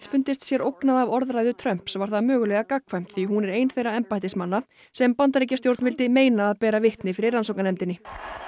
fundist sér ógnað af orðræðu Trumps var það mögulega gagnkvæmt því hún er ein þeirra embættismanna sem Bandaríkjastjórn vildi meina að bera vitni fyrir rannsóknarnefndinni